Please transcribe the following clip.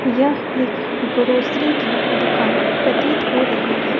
यह एक ग्रोसरी की दुकान प्रतीत हो रही है।